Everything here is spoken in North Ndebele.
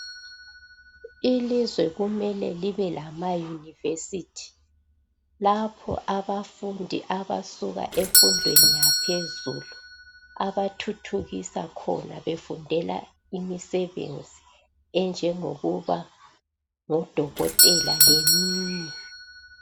Ilizwe kumele libelama universithi lapho abafundi abasuka efundweni yaphezulu abathuthukisa khona befundela imisebenzi enjengokuba ngodokotela leminye.